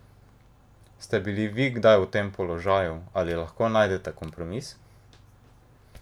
Ste bili vi kdaj v tem položaju, ali lahko najdete kompromis?